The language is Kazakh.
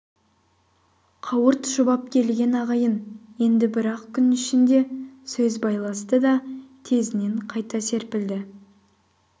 қауырт шұбап келген ағайын енді бір-ақ күн ішінде сөз байласты да тезінен қайта серпілді